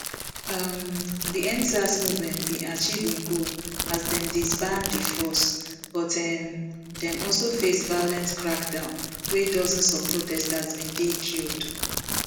um di endsars movement bin achieve im goal as dem disband di force but um dem also face violent crackdown wia dozens of protesters bin dey killed